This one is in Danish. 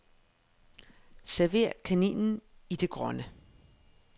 Server kaninen i det grønne.